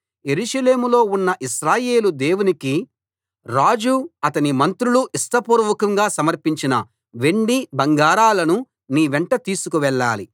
యెరూషలేములో ఉన్న ఇశ్రాయేలు దేవునికి రాజు అతని మంత్రులు ఇష్టపూర్వకంగా సమర్పించిన వెండి బంగారాలను నీ వెంట తీసుకు వెళ్ళాలి